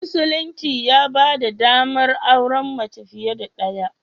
Musulunci ya ba da ɗamar auren mace fiye da ɗaya.